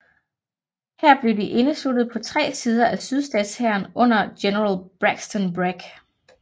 Her blev de indesluttet på tre sider af sydstatshæren under general Braxton Bragg